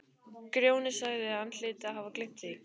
Grjóni sagði að hann hlyti að hafa gleymt því.